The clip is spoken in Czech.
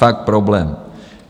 Fakt problém.